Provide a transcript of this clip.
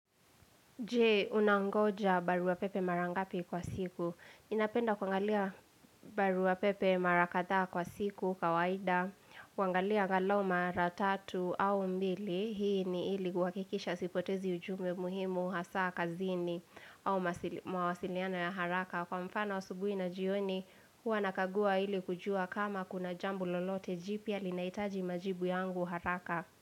Je, unangoja barua pepe mara ngapi kwa siku? Ninapenda kuangalia barua pepe mara kadhaa kwa siku kawaida. Kuangalia angalau maratatu au mbili. Hii ni ili kuhakikisha sipotezi ujumbe muhimu hasa kazini au mawasiliano ya haraka. Kwa mfano asubuhi na jioni, huwa nakagua ili kujua kama kuna jambo lolote jipya linahitaji majibu yangu haraka.